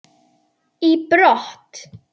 í brott.